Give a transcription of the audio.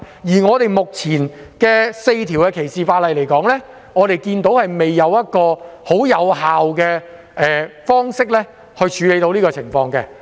觀乎目前的4項反歧視條例，我們看不到有任何方式可以十分有效處理以上情況。